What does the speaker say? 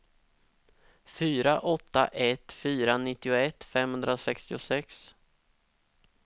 fyra åtta ett fyra nittioett femhundrasextiosex